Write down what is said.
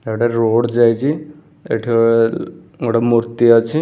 ଏଟା ରୋଡ୍‌ ଯାଇଛି ଏଠି -- ଅ ଗୋଟେ ମୂର୍ତ୍ତି ଅଛି ।